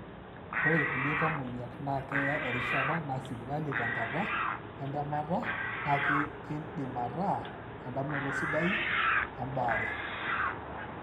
ore ilkulie tamoyiak, na keeya erishata na sipitali tenkata entemata na kindim ataa endamunoto sidai embaare.